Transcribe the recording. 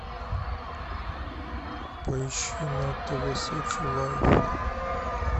поищи на тв сочи лайв